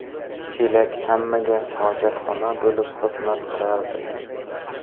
Chelak hammaga hojatxona bo‘lib xizmat qilardi.